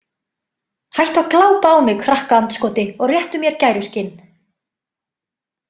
Hættu að glápa á mig krakkaandskoti og réttu mér gæruskinn